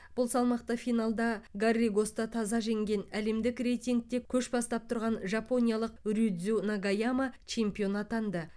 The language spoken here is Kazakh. бұл салмақта финалда гарригосты таза жеңген әлемдік рейтингте көш бастап тұрған жапониялық рюдзю нагаяма чемпион атанды